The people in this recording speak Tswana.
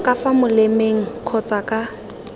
ka fa molemeng kgotsa ka